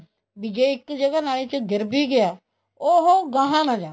ਵੀ ਜ਼ੇ ਇੱਕ ਜਗ੍ਹਾ ਨਾਲੀ ਚ ਗਿਰ ਵੀ ਗਿਆ ਉਹ ਗਾਂਹ ਨਾ ਜਾਵੇ